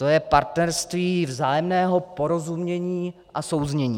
To je partnerství vzájemného porozumění a souznění.